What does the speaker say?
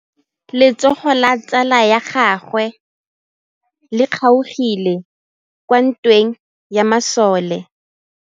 Letsôgô la tsala ya gagwe le kgaogile kwa ntweng ya masole.